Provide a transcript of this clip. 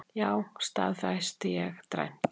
Já, staðfesti ég dræmt.